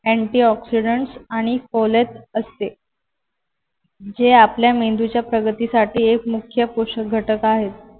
antioxidants आणि foliate असते जे आपल्या मेंदूच्या प्रगतीसाठी एक मुख्य पोषक घटक आहेत.